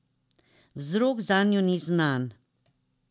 Vzrok zanjo ni znan.